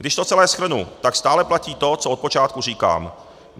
Když to celé shrnu, tak stále platí to, co od počátku říkám.